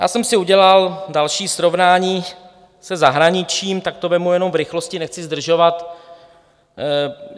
Já jsem si udělal další srovnání se zahraničím, tak to vezmu jenom v rychlosti, nechci zdržovat.